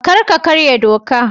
Kar ka karya doka